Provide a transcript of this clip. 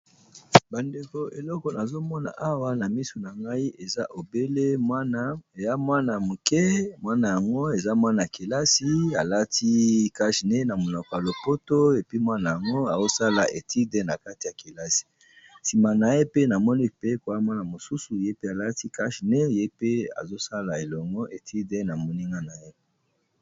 Ba ndeko eloko nazo mona awa na misu na ngai eza obele mwana ya moke, mwana yango eza mwana kelasi a lati cash nez na monoko ya lopoto et puis , mwana yango azo sala etude na kati ya kelasi . Sima na ye pe na moni moninga pe mwa mwana mosusu ye pe a lati cash nez, ye pe azo sala elongo étude na moninga na ye .